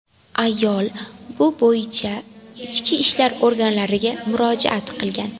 Ayol bu bo‘yicha Ichki ishlar organlariga murojaat qilgan.